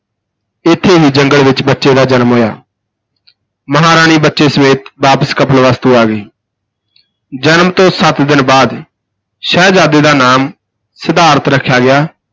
ਇਥੇ ਹੀ ਜੰਗਲ ਵਿਚ ਬੱਚੇ ਦਾ ਜਨਮ ਹੋਇਆ ਮਹਾਰਾਣੀ ਬੱਚੇ ਸਮੇਤ ਵਾਪਸ ਕਪਿਲਵਸਤੂ ਆ ਗਈ ਜਨਮ ਤੋਂ ਸੱਤ ਦਿਨ ਬਾਅਦ ਸ਼ਹਿਜਾਦੇ ਦਾ ਨਾਮ ਸਿਧਾਰਥ ਰੱਖਿਆ ਗਿਆ,